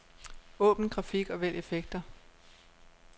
Åbn grafik og vælg effekter.